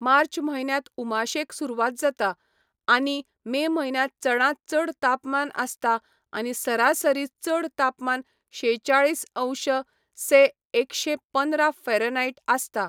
मार्च म्हयन्यांत उमाशेक सुरवात जाता, आनी मे म्हयन्यांत चडांत चड तापमान आसता आनी सरासरी चड तापमान शेचाळीस अंश से एकशे पंदरा फाँरेनहाइट आसता.